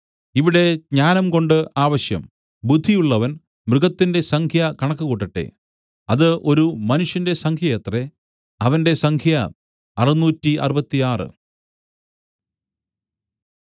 ഇവിടെ ജ്ഞാനംകൊണ്ട് ആവശ്യം ബുദ്ധിയുള്ളവൻ മൃഗത്തിന്റെ സംഖ്യ കണക്കുകൂട്ടട്ടെ അത് ഒരു മനുഷ്യന്റെ സംഖ്യയത്രേ അവന്റെ സംഖ്യ 666